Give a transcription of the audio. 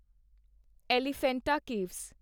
Elephanta caves